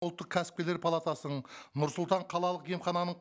ұлттық кәсіпкерлер палатасының нұр сұлтан қалалық емхананың